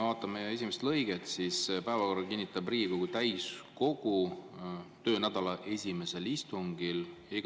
Vaatame selle esimest lõiget: "Päevakorra kinnitab Riigikogu täiskogu töönädala esimesel istungil.